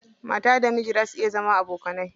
Mata da miji za su iya zama abokanai.